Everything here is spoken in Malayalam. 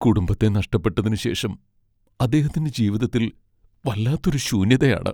കുടുംബത്തെ നഷ്ടപ്പെട്ടതിനുശേഷം അദ്ദേഹത്തിൻ്റെ ജീവിതത്തിൽ വല്ലാത്തൊരു ശൂന്യതയാണ്.